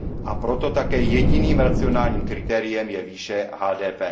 A proto také jediným racionálním kritériem je výše HDP.